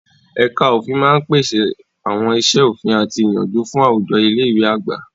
Ẹ̀ka òfin máa ń pèsè àwọn iṣẹ́ òfin àti ìyànjú fún àwùjọ ilé ìwé àgbà.